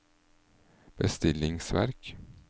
bestillingsverk